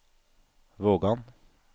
Vågan